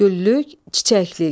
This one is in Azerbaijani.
Güllük, çiçəklik.